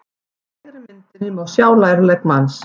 Á hægri myndinni má sjá lærlegg manns.